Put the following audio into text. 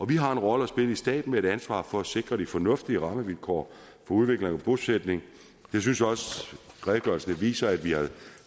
vi har en rolle at spille i staten med et ansvar for at sikre de fornuftige rammevilkår for udvikling og bosætning jeg synes også redegørelsen viser at